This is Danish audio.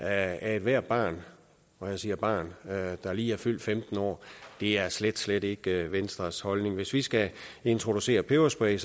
af ethvert barn og jeg siger barn der lige er fyldt femten år er slet slet ikke i venstres holdning hvis vi skal introducere peberspray